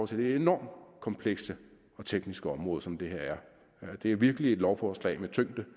til det enormt komplekse og tekniske område som det her er det er virkelig et lovforslag med tyngde